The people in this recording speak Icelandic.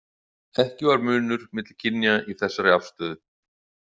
Ekki var munur milli kynja í þessari afstöðu.